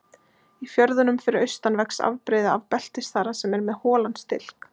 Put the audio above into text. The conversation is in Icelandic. Í fjörðunum fyrir austan vex afbrigði af beltisþara sem er með holan stilk.